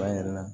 An yɛrɛ la